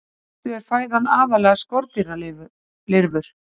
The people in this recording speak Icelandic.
Í fyrstu er fæðan aðallega skordýralirfur.